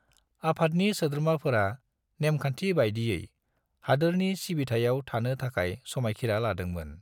आफादनि सोद्रोमाफोरा नेमखान्थि बायदियै हादोरनि सिबिथायाव थानो थाखाय समायखीरा लादोंमोन।